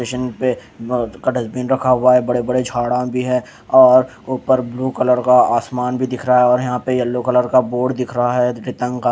बड़े-बड़े झाड़ा भी हैं और ऊपर ब्लू कलर का आसमान भी दिख रहा है और यहाँ पे यलो कलर का बोर्ड दिख रहा है --